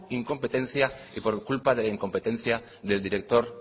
incompetencia y por culpa de la incompetencia del director